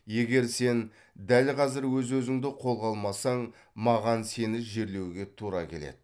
егер сен дәл қазір өз өзіңді қолға алмасаң маған сені жерлеуге тура келеді